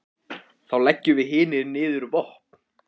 Þá leggjum við hinir niður vopn.